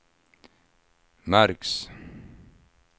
märks